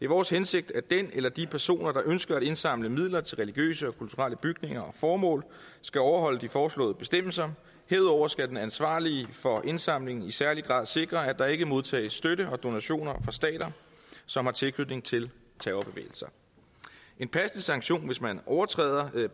vores hensigt at den eller de personer der ønsker at indsamle midler til religiøse og kulturelle bygninger og formål skal overholde de foreslåede bestemmelser herudover skal den ansvarlige for indsamlingen i særlig grad sikre at der ikke modtages støtte og donationer fra stater som har tilknytning til terrorbevægelser en passende sanktion hvis man overtræder